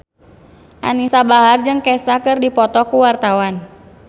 Anisa Bahar jeung Kesha keur dipoto ku wartawan